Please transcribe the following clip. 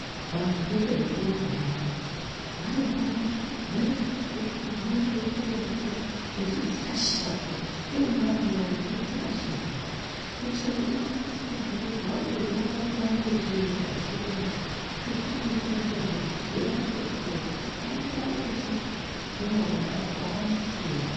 Vantu vanoita zvekurumba vaya vanenguwa yekuti vari pakati pekurumba, unoona veitore mvura vechidzirashira kudai vechitora mvura kune vantu vechidzirashira kudai kuitira kuti vaone kutonhorerwa uyezve vaone kuramba vechienda vechirumba ngekuti pane mitombozve yavanotopuwa kuti vaone kuramba vechirumba kudarokwo vaone simba.